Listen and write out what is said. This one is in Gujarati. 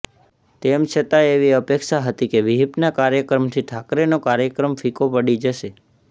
તેમ છતાં એવી અપેક્ષા હતી કે વિહિપના કાર્યક્રમથી ઠાકરેનો કાર્યક્રમ ફિક્કો પડી જશે